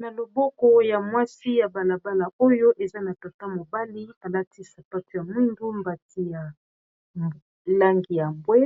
Na loboko ya mwasi ya balabala oyo eza na tata mobali alati sapait ya mwindu mbati ya langi ya bwe